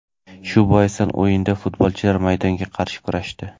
Shu boisdan o‘yinda futbolchilar maydonga qarshi kurashdi.